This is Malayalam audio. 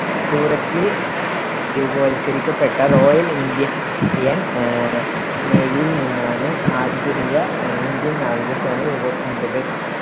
സൂററ്റിൽ രൂപവൽക്കരിക്കപ്പെട്ട റോയൽ ഇന്ത്യ~ൻ ആഹ് നേവിയിൽ നിന്നാണ് ആധുനിക ഇന്ത്യൻ അഹ് നാവികസേന രൂപം കൊണ്ടത്.